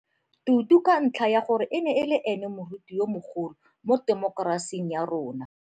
Tutu ka ntlha ya gore e ne e le ene moruti yo mogolo mo temokerasing ya rona.